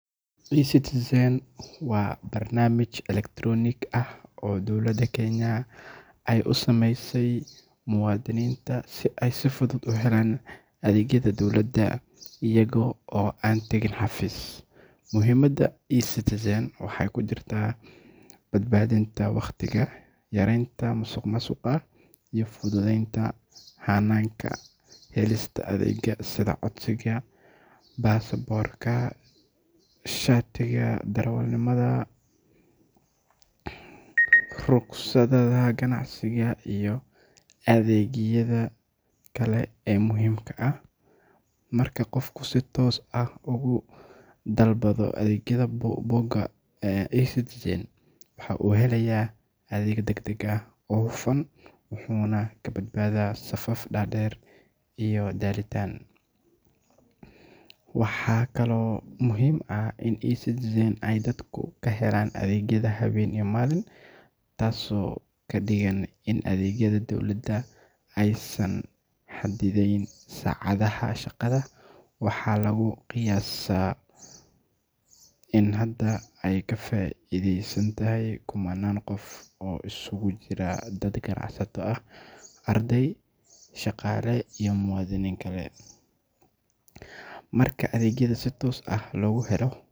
Ecitizen waa barnaamij elektaroonig ah oo dowladda Kenya ay u samaysay muwaadiniinta si ay si fudud ugu helaan adeegyada dowladda iyaga oo aan tagin xafiis. Muhiimadda Ecitizen waxay ku jirtaa badbaadinta waqtiga, yareynta musuqmaasuqa, iyo fududeynta hannaanka helista adeegyada sida codsiga baasaboorka, shatiga darawalnimada, rukhsadaha ganacsiga, iyo adeegyada kale ee muhiimka ah. Marka qofku si toos ah uga dalbado adeegyada bogga Ecitizen, waxa uu helayaa adeeg deg deg ah oo hufan, wuxuuna ka badbaadaa safaf dhaadheer iyo daahitaan. Waxaa kaloo muhiim ah in Ecitizen ay dadku ka helaan adeegyada habeen iyo maalin, taas oo ka dhigan in adeegyada dowladda aysan xadidnayn saacadaha shaqada. Waxaa lagu qiyaasaa in hadda ay ka faa'iideystaan kumanaan qof oo isugu jira dad ganacsato ah, arday, shaqaale iyo muwaadiniin kale. Marka adeegyada si toos ah loogu helo.